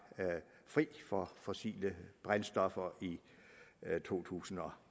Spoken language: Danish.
fri for fossile brændstoffer i to tusind og